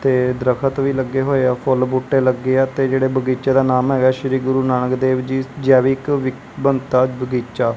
ਤੇ ਦਰਖਤ ਵੀ ਲੱਗੇ ਹੋਏ ਆ ਫੁੱਲ ਬੂਟੇ ਲੱਗੇ ਆ ਤੇ ਜਿਹੜੇ ਬਗੀਚੇ ਦਾ ਨਾਮ ਹੈਗਾ ਸ਼੍ਰੀ ਗੁਰੂ ਨਾਨਕ ਦੇਵ ਜੀ ਜੈਵਿਕ ਵੰਤਾ ਬਗੀਚਾ।